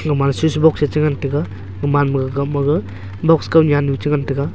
ga ma switch box a cha ngan taiga ga ga ma maga box kot litnu cha ngan taiga.